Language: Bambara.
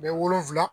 Bɛ wolonwula